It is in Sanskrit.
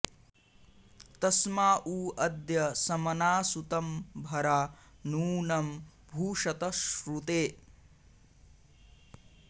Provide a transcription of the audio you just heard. तस्मा॑ उ अ॒द्य स॑म॒ना सु॒तं भ॒रा नू॒नं भू॑षत श्रु॒ते